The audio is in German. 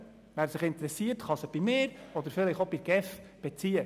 Wer sich interessiert, kann sie bei mir oder vielleicht auch bei der GEF beziehen.